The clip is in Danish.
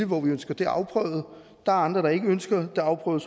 hvor vi ønsker det afprøvet der er andre der ikke ønsker det afprøvet